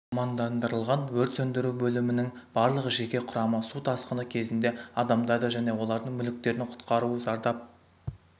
мамандандырылған өрт сөндіру бөлімінің барлық жеке құрамы су тасқыны кезінде адамдарды және олардың мүліктерін құтқару зардап